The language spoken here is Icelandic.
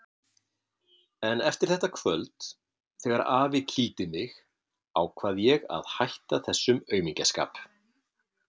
En eftir þetta kvöld, þegar afi kýldi mig, ákvað ég að hætta þessum aumingjaskap.